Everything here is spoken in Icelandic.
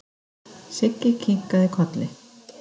Siggi kinkaði kolli.